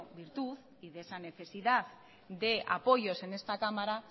virtud y de esa necesidad de apoyos en esta cámara